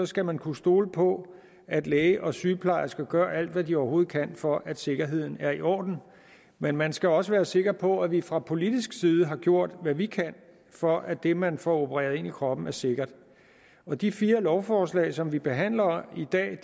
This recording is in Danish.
skal man kunne stole på at læge og sygeplejerske gør alt hvad de overhovedet kan for at sikkerheden er i orden men man skal også være sikker på at vi fra politisk side har gjort hvad vi kan for at det man får opereret ind i kroppen er sikkert og de fire lovforslag som vi behandler